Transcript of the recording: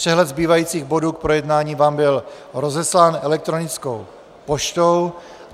Přehled zbývajících bodů k projednání vám byl rozeslán elektronickou poštou.